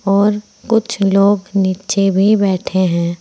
और कुछ लोग नीचे भी बैठे हैं।